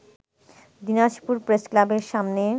দিনাজপুর প্রেসক্লাবের সামনে